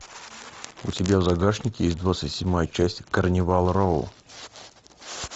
у тебя в загашнике есть двадцать седьмая часть карнивал роу